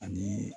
Ani